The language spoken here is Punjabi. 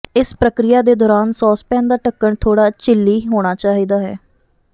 ਇਸ ਪ੍ਰਕਿਰਿਆ ਦੇ ਦੌਰਾਨ ਸੌਸਪੈਨ ਦਾ ਢੱਕਣ ਥੋੜ੍ਹਾ ਝਿੱਲੀ ਹੋਣਾ ਚਾਹੀਦਾ ਹੈ